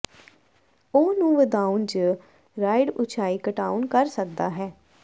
ਉਹ ਨੂੰ ਵਧਾਉਣ ਜ ਰਾਈਡ ਉਚਾਈ ਘਟਾਉਣ ਕਰ ਸਕਦਾ ਹੈ